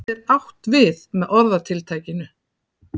hvað er átt við með orðatiltækinu